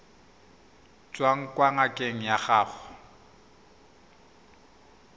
tswang kwa ngakeng ya gago